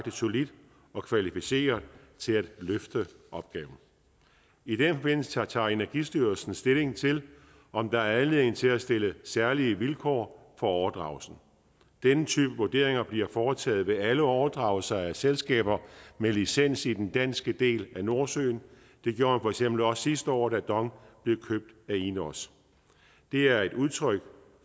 solidt og kvalificeret til at løfte opgaven i den forbindelse tager tager energistyrelsen stilling til om der er anledning til at stille særlige vilkår for overdragelsen denne type vurderinger bliver foretaget ved alle overdragelser af selskaber med licens i den danske del af nordsøen det gjorde for eksempel også sidste år da dong blev købt af ineos det er et udtryk